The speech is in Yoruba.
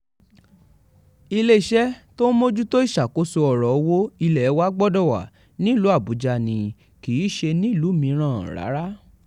iléeṣẹ́ tó ń mójútó ìṣàkóso ọ̀rọ̀ owó ilé wa gbọ́dọ̀ wà nílùú àbújá ni kì í ṣe nílùú mìíràn rárá